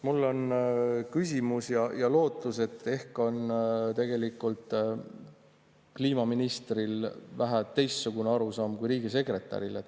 Mul on küsimus ja lootus, et ehk on tegelikult kliimaministril vähe teistsugune arusaam kui riigisekretäril.